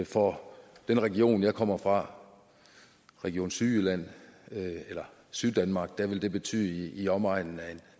for den region jeg kommer fra region syddanmark syddanmark vil det betyde i omegnen af